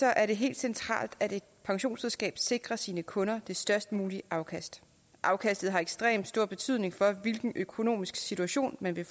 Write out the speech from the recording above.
er det helt centralt at et pensionsselskab sikrer sine kunder det størst mulige afkast afkastet har ekstremt stor betydning for hvilken økonomisk situation man vil